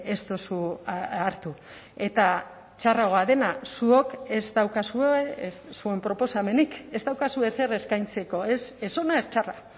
ez duzu hartu eta txarragoa dena zuok ez daukazue zuen proposamenik ez daukazue ezer eskaintzeko ez ona ez txarra